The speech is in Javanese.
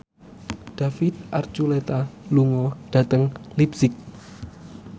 David Archuletta lunga dhateng leipzig